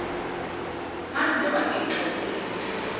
phandle wagixa ukulila